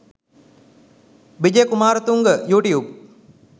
vijaya kumarathunga youtube.